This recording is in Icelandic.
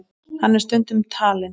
Hann er stundum talinn